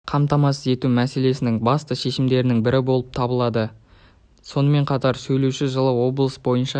қамтамасыз ету мәселесінің басты шешімдерінің бірі болып табылады деді сонымен қатар сөйлеуші жылы облыс бойынша